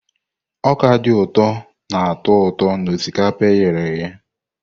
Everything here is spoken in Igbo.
Ọka dị ụtọ na-atọ ụtọ na osikapa e ghere eghe.